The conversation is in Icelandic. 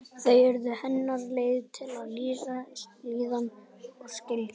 Þau urðu hennar leið til að lýsa líðan og skynjun.